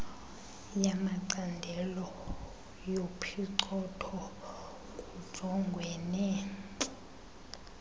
yamacandelo yophicotho kujongwene